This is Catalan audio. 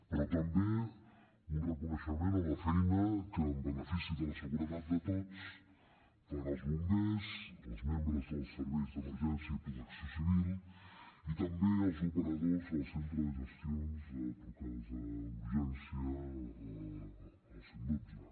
però també un reconeixement a la feina que en benefici de la seguretat de tots fan els bombers els membres dels serveis d’emergència i protecció civil i també els operadors del centre de gestions de trucades d’urgència el cent i dotze